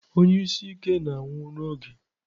Onye isi ike na-anwụ n'oge.